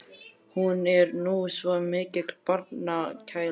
Hún er nú svo mikil barnagæla.